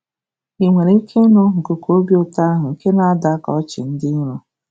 Ị nwere ike ịnụ nkuku obi ụtọ ahụ nke na-ada ka ọchị dị nro?